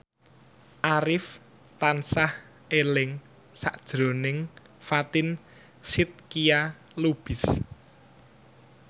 Arif tansah eling sakjroning Fatin Shidqia Lubis